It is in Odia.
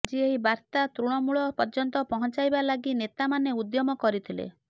ଆଜି ଏହି ବାର୍ତା ତୃଣମୂଳ ପର୍ଯ୍ୟନ୍ତ ପହଞ୍ଚାଇବା ଲାଗି ନେତାମାନେ ଉଦ୍ୟମ କରିଥିଲେ